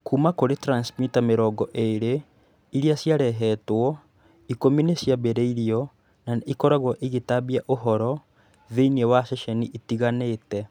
Kuuma kũrĩ transmitter mĩrongo ĩĩrĩ iria ciarehetwo, ikũmi nĩ ciambĩrĩirio na nĩ ikoragwo igĩtambia ũhoro thĩinĩ wa ceceni itiganĩte.